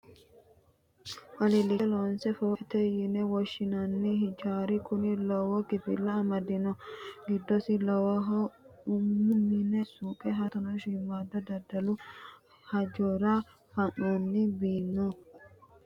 Alilicho loonse fooqete yine woshshinanni hijaari kuni lowo kifila amadino giddosi lawishshaho umu mine, suuqe, hattono shiimada daddalu hajora fanonni biiro amadino giddosi.